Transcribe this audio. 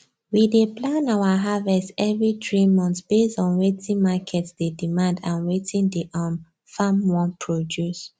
we dey plan our harvest every three months based on wetin market dey demand and wetin the um farm wan produce